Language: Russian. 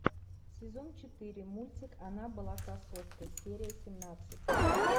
сезон четыре мультик она была красоткой серия семнадцать